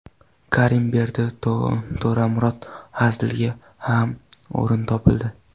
Karimberdi To‘ramurod Hazilga ham o‘rin topildi.